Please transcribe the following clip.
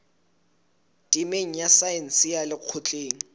temeng ya saense ya lekgotleng